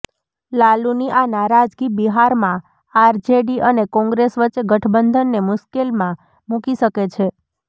લાલૂની આ નારાજગી બિહારમાં આરજેડી અને કોંગ્રેસ વચ્ચે ગઠબંધનને મુશ્કેલમાં મુકી શકે છે